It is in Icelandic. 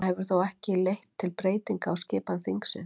Það hefur þó ekki leitt til breytinga á skipan þingsins.